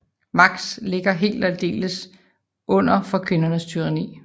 Max ligger helt og aldeles under for kvindernes tyranni